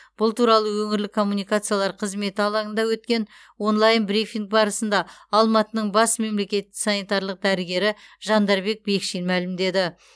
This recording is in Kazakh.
бұл туралы өңірлік коммуникациялар қызметі алаңында өткен онлайн брифинг барысында алматының бас мемлекеттік санитарлық дәрігері жандарбек бекшин мәлімдеді